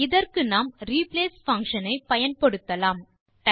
இதற்கு நாம் replace function ஐ பயன்படுத்தலாம்